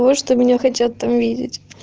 можешь ты меня хотят там видеть